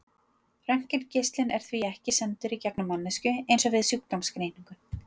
Röntgengeislinn er því ekki sendur í gegnum manneskjuna eins og við sjúkdómsgreiningu.